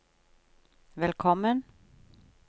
velkommen